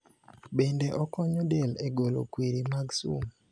Bende okonyo del egolo kwiri mag sum .